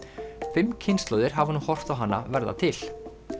fimm kynslóðir hafa nú horft á hana verða til